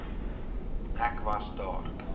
ek was daar